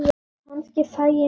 Kannski fæ ég mér kött.